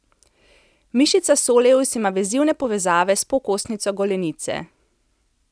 Mišica soleus ima vezivne povezave s pokostnico golenice.